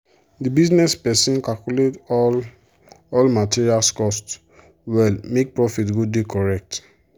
the business person calculate all all material cost well make profit go dey correct.